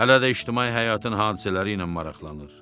Hələ də ictimai həyatın hadisələri ilə maraqlanır.